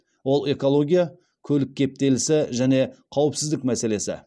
ол экология көлік кептелісі және қауіпсіздік мәселесі